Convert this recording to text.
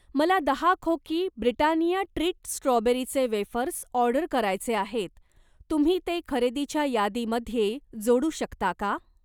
मला दहा खोकी ब्रिटानिया ट्रीट स्ट्रॉबेरीचे वेफर्स ऑर्डर करायचे आहेत, तुम्ही ते खरेदीच्या यादीमध्ये जोडू शकता का?